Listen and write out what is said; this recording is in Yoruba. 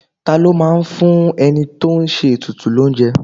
Ta ló máa ń fún ẹni tó ń ṣe ètùtù l'ounje?